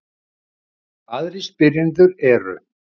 Aðrir spyrjendur eru: